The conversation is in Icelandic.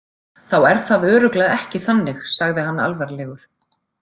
Þá er það örugglega ekki þannig, sagði hann alvarlegur.